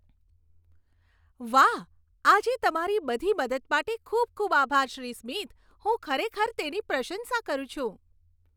વાહ, આજે તમારી બધી મદદ માટે ખૂબ ખૂબ આભાર, શ્રી સ્મિથ. હું ખરેખર તેની પ્રશંસા કરું છું!